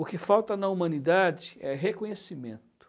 O que falta na humanidade é reconhecimento.